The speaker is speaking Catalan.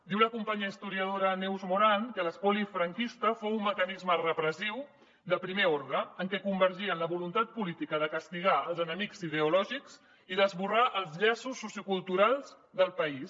diu la companya historiadora neus moran que l’espoli franquista fou un mecanisme repressiu de primer ordre en què convergien la voluntat política de castigar els enemics ideològics i d’esborrar els llaços socioculturals del país